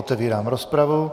Otevírám rozpravu.